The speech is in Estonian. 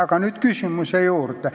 Aga nüüd probleemi juurde.